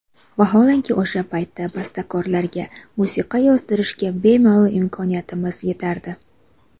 Vaholanki, o‘sha paytda bastakorlarga musiqa yozdirishga bemalol imkoniyatimiz yetardi.